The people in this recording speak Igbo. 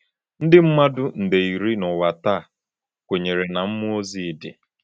Ndị mmadụ nde iri n’ụwa taa kwenyere na mmụọ ozi dị.